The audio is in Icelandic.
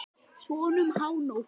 Svona um hánótt.